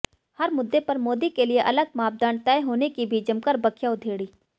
हर मुद्दे पर मोदी के लिए अलग मापदंड तय होने की भी जमकर बखिया उधेड़ी